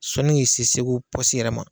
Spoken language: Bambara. Sɔnni ki se Segu pɔsi yɛrɛ ma.